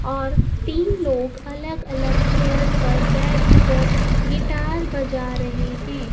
और तीन लोग अलग अलग चेयर पर बैठ कर गिटार बजा रहे हैं।